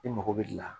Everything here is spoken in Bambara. I mago bɛ la